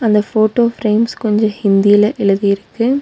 அந்த photo frames கொஞ்சோ ஹிந்தில எழுதிருக்கு.